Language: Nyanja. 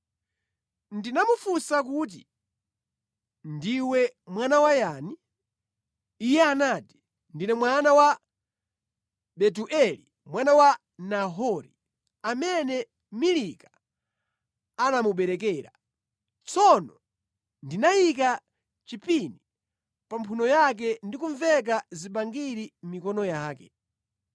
“Ndinamufunsa kuti, ‘Ndiwe mwana wa yani?’ “Iye anati, ‘Ndine mwana wa Betueli mwana wa Nahori, amene Milika anamuberekera.’ “Tsono ndinayika chipini pa mphuno yake ndi kumveka zibangiri mʼmikono yake,